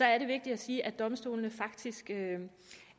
er det vigtigt at sige at domstolene faktisk